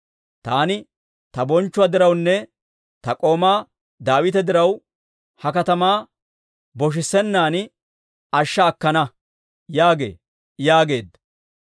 Taani ta bonchchuwaa dirawunne ta k'oomaa Daawita diraw, ha katamaa boshissenaan ashsha akkana› yaagee» yaageedda.